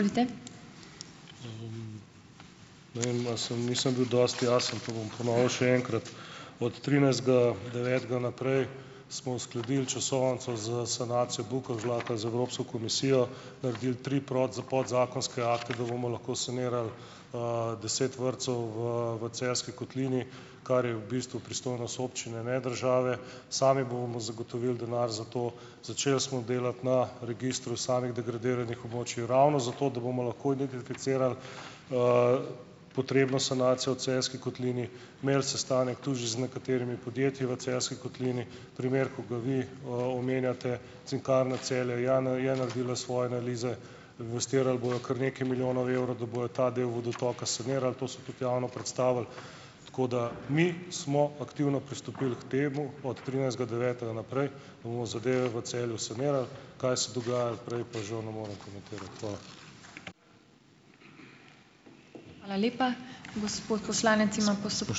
Ne vem, a samo nisem bil dosti jasen, pa bom ponovil še enkrat. Od trinajstega devetega naprej smo uskladili časovnico za sanacijo Bukovžlaka z Evropsko komisijo, naredili tri podzakonske akte, da bomo lahko sanirali, deset vrtcev v, v Celjski kotlini, kar je v bistvu pristojnost občine, ne države, sami bomo zagotovili denar za to, začeli smo delati na registru samih degradiranih območij ravno zato, da bomo lahko identificirali potrebno sanacijo v Celjski kotlini, imeli sestanek tudi že z nekaterimi podjetji v Celjski kotlini, primer, ki ga vi, omenjate, Cinkarna Celje, ja je naredila svoje analize, investirali bojo kar nekaj milijonov evrov, da bojo ta del vodotoka sanirali, to so tudi javno predstavili, tako da, mi smo aktivno pristopili k temu. Od trinajstega devetega naprej bomo zadeve v Celju sanirali, kaj se dogajalo prej, pa žal ne morem komentirati. Hvala.